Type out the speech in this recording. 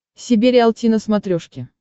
себе риалти на смотрешке